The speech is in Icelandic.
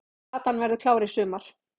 Platan verður klár í sumar